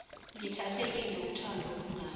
ngithathekile wuthando olungaka